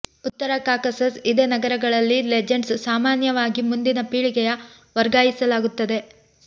ಉತ್ತರ ಕಾಕಸಸ್ ಇದೇ ನಗರಗಳಲ್ಲಿ ಲೆಜೆಂಡ್ಸ್ ಸಾಮಾನ್ಯವಾಗಿ ಮುಂದಿನ ಪೀಳಿಗೆಯ ವರ್ಗಾಯಿಸಲಾಗುತ್ತದೆ